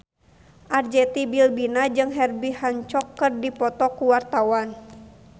Arzetti Bilbina jeung Herbie Hancock keur dipoto ku wartawan